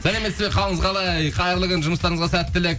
сәлеметсіз бе қалыңыз қалай қайырлы күн жұмыстарыңызға сәттілік